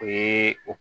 O ye o